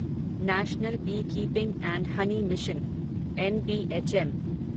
national beekeeping and honey mission NBHM